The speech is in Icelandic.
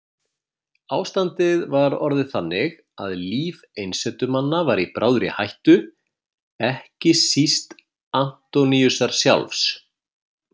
Ástandið var orðið þannig að líf einsetumanna var í bráðri hættu, ekki síst Antóníusar sjálfs.